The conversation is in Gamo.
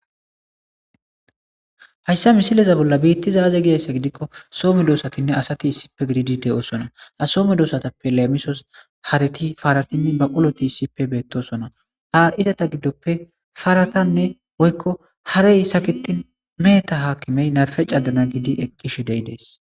Haysa misileza betizay aaze gizaysa gidikon so medosane asati issippe gidid de'osona, ha so medosatapp elemisos haret parati baquloti issippe betosona, ha izeta gidoppe paratanne woyko harey saketin meheta akimey namrpe cadana eqishe de'ides.